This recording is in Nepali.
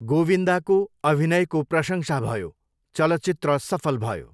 गोविन्दाको अभिनयको प्रशंसा भयो, चलचित्र सफल भयो।